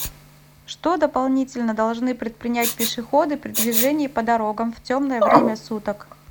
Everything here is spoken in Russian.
что дополнительно должны предпринять пешеходы при движении по дорогам в темное время суток